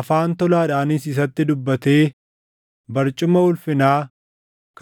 Afaan tolaadhaanis isatti dubbatee barcuma ulfinaa